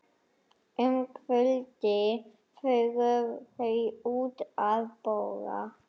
Um kvöldið fóru þau út að borða.